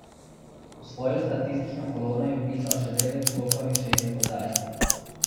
V svojo statistično kolono je vpisal še devet skokov in šest podaj.